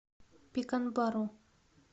пеканбару